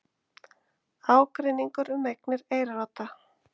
Ágreiningur um eignir Eyrarodda